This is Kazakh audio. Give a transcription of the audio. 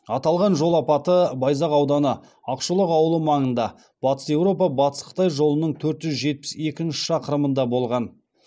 аталған жол апаты байзақ ауданы ақшолақ ауылы маңында батыс еуропа батыс қытай жолының төрт жүз жетпіс екінші шақырымында болған